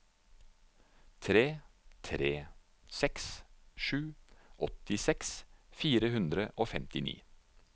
tre tre seks sju åttiseks fire hundre og femtini